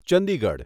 Chandigarh